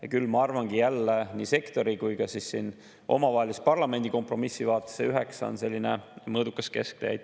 Ja ma arvangi, et nii sektori kui ka omavahelises parlamendi kompromissi vaates on see 9% selline mõõdukas kesktee.